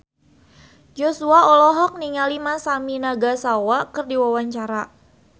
Joshua olohok ningali Masami Nagasawa keur diwawancara